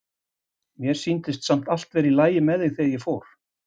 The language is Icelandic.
Mér sýndist samt vera allt í lagi með þig þegar ég fór.